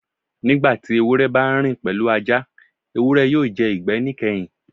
Nigbati ewurẹ ba n rin pẹlu Aja, ewurẹ yoo jẹ igbẹ nikẹhin.